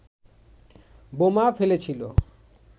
বোমা ফেলেছিল